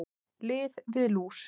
Lyf við lús